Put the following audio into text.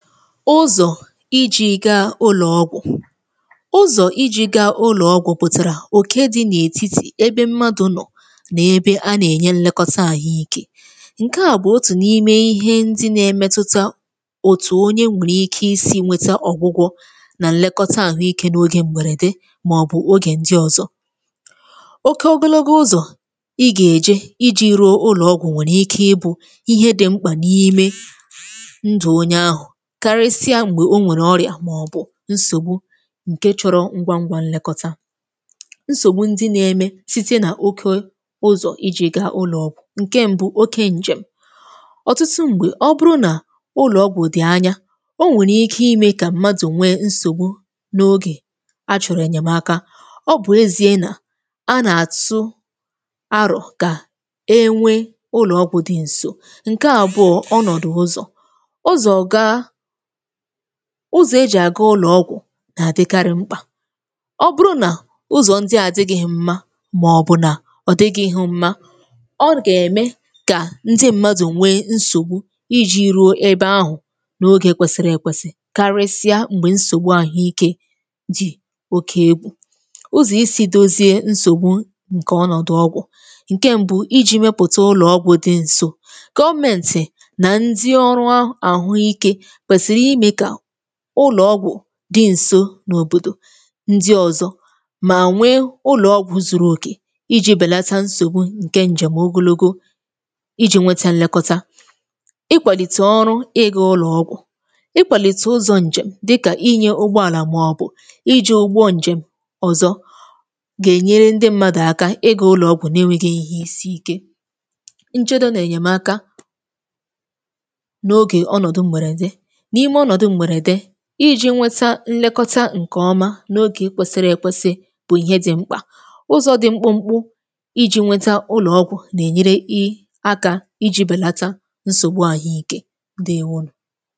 Ụzọ̀ iji̇ gaa ụlọ̀ọgwụ̀, ụzọ̀ iji̇ gàa ụlọ̀ọgwụ̀ bụtàrà òke dị n’ètitì ebe mmadụ̀ nọ̀ nà ebe a nà-ènye nlekọta àhụikė. Ǹkè à bụ̀ otù n’ime ihe ndị na-emetùta òtù onye nwèrè ike isi̇ wetà ọ̀gwụgwọ̇ nà nlekọta àhụikė n’ogè mberede màọ̀bụ̀ n’ogè ndị ọ̀zọ. Òke ọgụlọ̇gȯ ụzọ̀ ị gà-èje iji̇ ruo ụlọ̀ọgwụ̀ nwèrè ike ịbụ̇ ihe dị̇ ṁkpà n’ime ndụ̀ onye ahụ̀, kàrịsịa m̀gbè o nwèrè ọ̀rịà màọbụ̀ nsògbu ǹkè chọ̀rọ̀ ngwa ngwa nlekọta. Nsògbu ndị nȧ-eme site nà òke ụzọ̀ iji̇ gaa ụlọ̀ọgwụ̀, ǹkè m̀bu bụ̀ òke ǹjèm. Ọ̀tụtụ m̀gbè ọ bụrụ nà ụlọ̀ọgwụ̀ dị̀ anya, o nwèrè ike imė kà mmadụ̀ nwee nsògbu n’ogè a chọ̀rọ̀ ènyèmaka. Ọbụ̀ ezie nà a nà-àtụ aro gà e nwe ụlọ̀ọgwụ̀ dị ǹso, ǹkè àbụọ̀ bụ ọnọ̀dụ̀ ụzọ̀. Ụzọ̀ gà—ụzọ̀ ejì àga ụlọ̀ọgwụ̀—nà-àdịkarị mkpà. Ọ bụrụ nà ụzọ̀ ndị à adịghị̇ghị̇ mma màọ̀bụ̀ nà ọ dịghị̇ ihu mmȧ, ọ gà-ème kà ndị mmadụ̀ nwee nsògbu iji̇ rùo ebe ahụ̀ n’ogè kwesiri èkwesì, karịsịa m̀gbè nsògbu àhụikė dị̀ oke egwu. Ụzọ̀ isi̇ dozie nsògbu ǹkè bụ ọnọ̀dụ̀ ọgwụ̀. Ǹkè m̀bụ bụ iji̇ mepụ̀ta ụlọ̀ọgwụ̇ dị ǹso. Government nà ndị ọrụ ahụike kwesịrị ime ka ụlọ̀ọgwụ̀ dị ǹso n’òbòdò ndị ọ̀zọ, mà nwekwazie ụlọ̀ọgwụ̇ zuru okè iji̇ bèlata nsògbu ǹkè ǹjèm ogologo iji̇ nweta nlekọta. Ịkwàlìtè ọrụ ịga ulọ̀ọgwụ̀, ikwàlìtè ụzọ̇ ǹjèm dịkà inye ugbòàlà màọbụ̀ iji̇ ụgwọ ǹjèm ọ̀zọ gà-ènyere ndị mmadụ̀ aka ịga ụlọ̀ọgwụ̀ n’enweghị̇ ihe isiìke. Nchedo nà-ènyemaka n’ogè ọnọdụ mberede, n’ime ọnọdụ mberede iji nweta nlekọta ǹkè ọ̀ma n’ogè kwesiri èkwesì, bụ̀ ihe dị̇ mkpà. Ụzọ̇ dị̇ mkpụmkpụ iji̇ nweta ulọ̀ọgwụ̀ nà-ènyere i akȧ iji̇ bèlata nsògbu àhụikė. Ǹdeewonu.